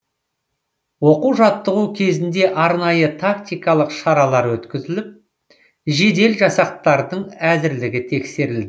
оқу жаттығу кезінде арнайы тактикалық шаралар өткізіліп жедел жасақтардың әзірлігі тексерілді